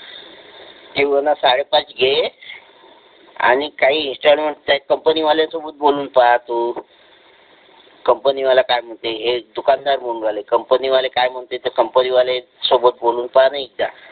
की मना साडेपाच घे आणि काही इंस्टॉलमेंट त्या कंपनी वाल्या सोबत बोलून टाकतो कंपनी वाला काय म्हणते हे दुकानदार म्हणून राहिले कंपनी वाले काय म्हणते ते कंपनी वाले सोबत बोलून पहा ना एकदा